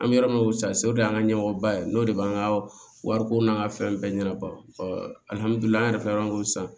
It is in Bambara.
An bɛ yɔrɔ min ko sase o de y'an ka ɲɛmɔgɔba ye n'o de b'an ka wariko n'an ka fɛn bɛɛ ɲɛnaba ali an yɛrɛ fɛ yan ko sisan